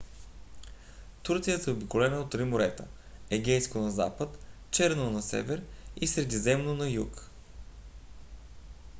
турция е заобиколена от три морета: егейско на запад черно на север и средиземно на юг